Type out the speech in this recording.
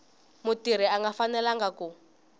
mutirhi a nga fanelanga ku